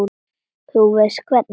Þú veist hvernig það er.